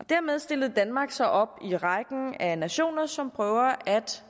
og dermed stillede danmark sig op i rækken af nationer som prøver at